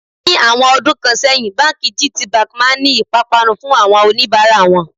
Ní àwọn ọdún kan sẹ́yìn, báńkì gtbank máa ń ní ìpápánu fún àwọn oníbàárà wọn.